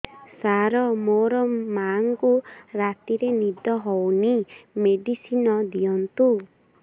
ସାର ମୋର ମାଆଙ୍କୁ ରାତିରେ ନିଦ ହଉନି ମେଡିସିନ ଦିଅନ୍ତୁ